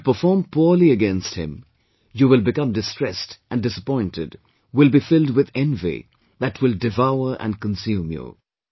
If you perform poorly against him, you will become distressed and disappointed, will be filled with envy, that will devour and consume you